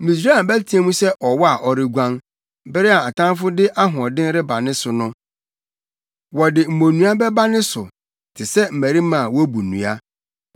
Misraim bɛteɛ mu sɛ ɔwɔ a ɔreguan bere a ɔtamfo de ahoɔden reba ne so no; wɔde mmonnua bɛba ne so te sɛ, mmarima a wobu nnua.